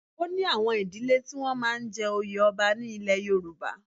O ní àwọn ìdílẹ́ tí wọ́n máa ń jẹ oyè ọba ní ilẹ̀ Yorùbá.